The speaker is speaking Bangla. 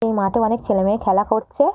এই মাঠে অনেক ছেলেমেয়ে খেলা করছে।